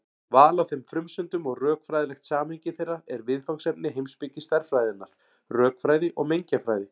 Val á þeim frumsendum og rökfræðilegt samhengi þeirra eru viðfangsefni heimspeki stærðfræðinnar, rökfræði og mengjafræði.